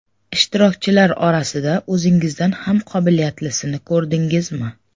Ishtirokchilar orasida o‘zingizdan ham qobilyatlisini ko‘rdingizmi?